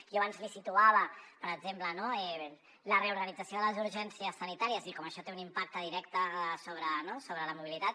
jo abans li situava per exemple la reorganització de les urgències sanitàries i com això té un impacte directe sobre la mobilitat